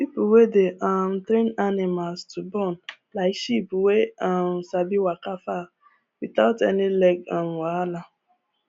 people wey dey um train animals to born like sheep wey um sabi waka far without any leg um wahala